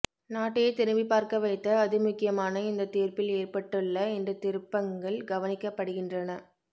நாட்டையே திரும்பிப் பார்க்க வைத்த அதி முக்கியமான இந்த தீர்ப்பில் ஏற்பட்டுள்ள இந்த திருப்பங்கள் கவனிக்கப்படுகின்றன